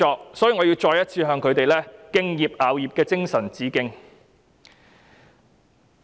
因此，我要再次向他們敬業樂業的精神致敬。